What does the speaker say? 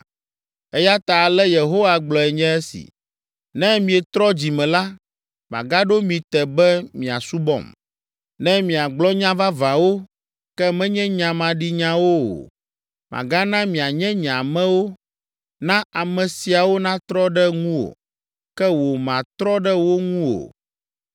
Eya ta ale Yehowa gblɔe nye esi: “Ne mietrɔ dzi me la, magaɖo mi te be miasubɔm. Ne miagblɔ nya vavãwo, ke menye nya maɖinyawo o, magana mianye nye amewo. Na ame siawo natrɔ ɖe ŋuwò, ke wò màtrɔ ɖe wo ŋu o.